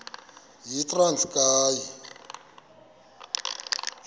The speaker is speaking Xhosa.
yitranskayi